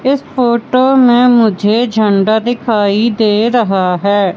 इस फोटो में मुझे झंडा दिखाई दे रहा है।